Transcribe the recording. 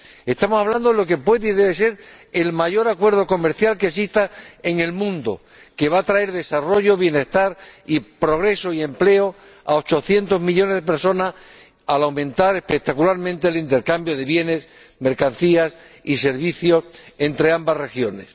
Estamos hablando de lo que puede y debe ser el mayor acuerdo comercial que exista en el mundo, que va a traer desarrollo, bienestar, progreso y empleo a ochocientos millones de personas, al aumentar espectacularmente el intercambio de bienes, mercancías y servicios entre ambas regiones.